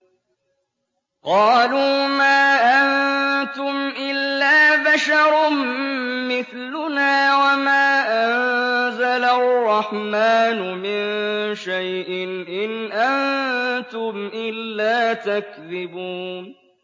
قَالُوا مَا أَنتُمْ إِلَّا بَشَرٌ مِّثْلُنَا وَمَا أَنزَلَ الرَّحْمَٰنُ مِن شَيْءٍ إِنْ أَنتُمْ إِلَّا تَكْذِبُونَ